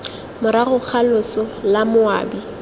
morago ga loso la moabi